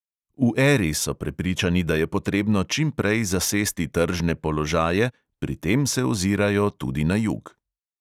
V eri so prepričani, da je potrebno čim prej zasesti tržne položaje, pri tem se ozirajo tudi na jug.